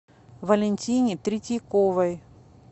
валентине третьяковой